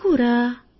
ఏమి కూర